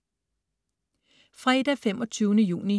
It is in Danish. Fredag den 25. juni